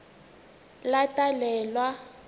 latalelwa